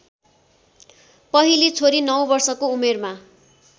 पहिली छोरी ९ वर्षको उमेरमा